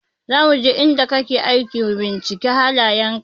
Za muje inda kake aiki mu binciki halayen ka.